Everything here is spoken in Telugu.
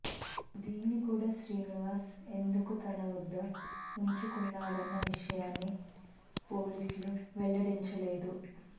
దీన్ని కూడా శ్రీనివాస్ ఎందుకు తన వద్ద ఉంచుకున్నాడన్న విషయాన్ని పోలీసులు వెల్లడించలేదు